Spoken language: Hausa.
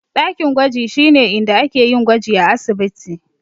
Dakin gwaji shine inda ake yin gwaji a asibiti.